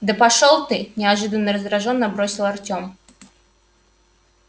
да пошёл ты неожиданно раздражённо бросил артем